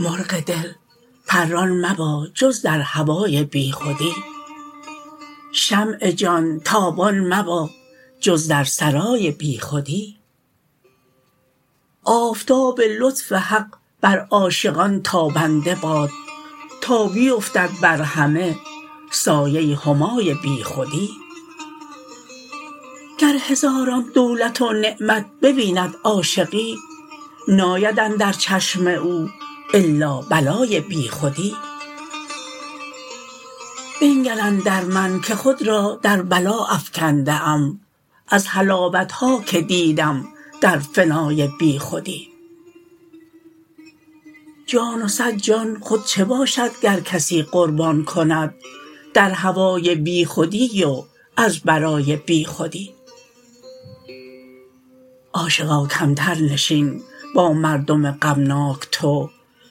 مرغ دل پران مبا جز در هوای بیخودی شمع جان تابان مبا جز در سرای بیخودی آفتاب لطف حق بر عاشقان تابنده باد تا بیفتد بر همه سایه همای بیخودی گر هزاران دولت و نعمت ببیند عاشقی ناید اندر چشم او الا بلای بیخودی بنگر اندر من که خود را در بلا افکنده ام از حلاوت ها که دیدم در فنای بیخودی جان و صد جان خود چه باشد گر کسی قربان کند در هوای بیخودی و از برای بیخودی عاشقا کمتر نشین با مردم غمناک تو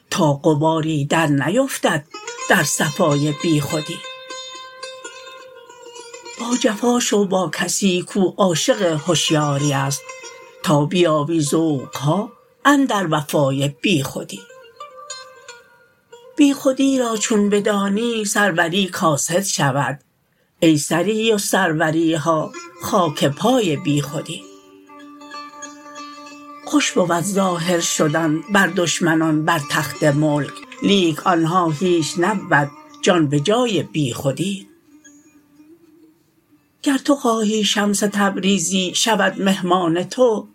تا غباری درنیفتد در صفای بیخودی باجفا شو با کسی کو عاشق هشیاری است تا بیابی ذوق ها اندر وفای بیخودی بیخودی را چون بدانی سروری کاسد شود ای سری و سروری ها خاک پای بیخودی خوش بود ظاهر شدن بر دشمنان بر تخت ملک لیک آن ها هیچ نبود جان به جای بیخودی گر تو خواهی شمس تبریزی شود مهمان تو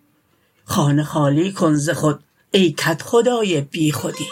خانه خالی کن ز خود ای کدخدای بیخودی